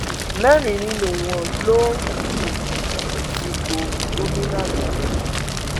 mẹrin nínú wọn ló ń um fipò gómìnà lọ mí